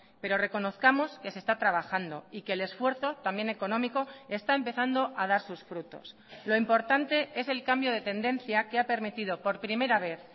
pero reconozcamos que se está trabajando y que el esfuerzo también económico está empezando a dar sus frutos lo importante es el cambio de tendencia que ha permitido por primera vez